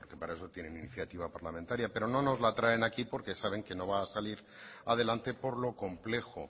porque para eso tienen iniciativa parlamentaria pero no nos la traen aquí porque saben que no va a salir adelante por lo complejo